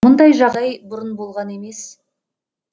мұндай жағдай бұрын болған емес